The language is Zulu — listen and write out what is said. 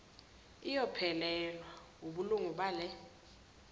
iyophelelwa wubulungu bale